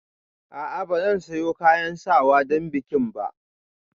A'a ba zan sayo kayan sawa don bikin ba